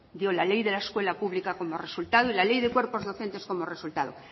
dio la ley de la escuela pública como resultado y la ley de cuerpos docentes como resultado